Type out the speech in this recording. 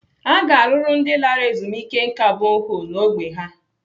Aga arụrụ ndị lara ezumike nká boholu n'ógbè ha?